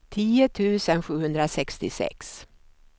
tio tusen sjuhundrasextiosex